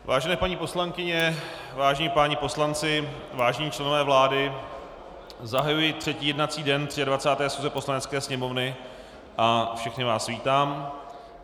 Vážené paní poslankyně, vážení páni poslanci, vážení členové vlády, zahajuji třetí jednací den 23. schůze Poslanecké sněmovny a všechny vás vítám.